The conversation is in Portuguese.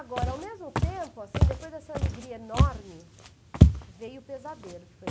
Agora, ao mesmo tempo, assim, depois dessa alegria enorme, veio o pesadelo, que foi